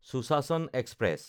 Sushasan express